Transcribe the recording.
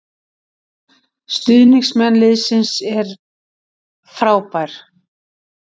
Stuðningsmenn liðsins eru frábær